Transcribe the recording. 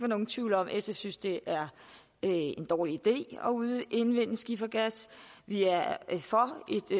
nogen tvivl om at sf synes det er en dårlig idé at udvinde skifergas vi er for